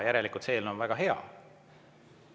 Järelikult see eelnõu on väga hea.